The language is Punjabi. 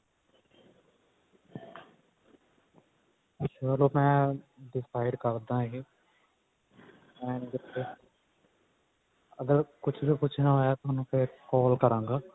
ਚੱਲੋ ਮੈਂ decide ਕਰਦਾ ਇਹ and ਜੇ ਅਗਰ ਕੁੱਛ ਨਾ ਕੁੱਛ ਨਾ ਹੋਇਆ ਫੇਰ ਤੁਹਾਨੂੰ call ਕਰਾਂਗਾ